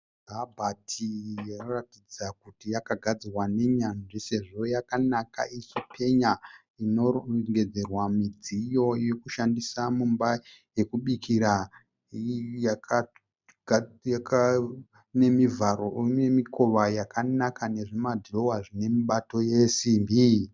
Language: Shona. Kabhati iyo inoratidza kuti yakagadzirwa nenyanzvi sezvo yakanaka ichipenya. Inorongedzerwa midziyo yekushandisa mumba yekubikira. Ine mivharo nemikova yakanaka nezvimadhirowa zvine mibato yesimbi.